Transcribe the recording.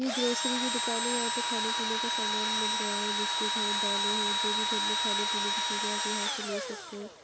यह ग्रोसीरी की दुकान है यहां पे खाने पीने का सामान मिल रहा है बिस्कुट है दाले हैं जो भी घर मे खाने पीने की चीज़े हैं आप यहां से ले सकते हैं।